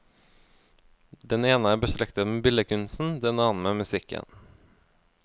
Den ene er beslektet med billedkunsten, den annen med musikken.